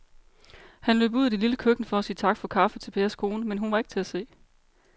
Han løb ud i det lille køkken for at sige tak for kaffe til Pers kone, men hun var ikke til at se.